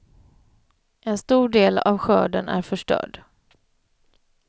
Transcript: En stor del av skörden är förstörd.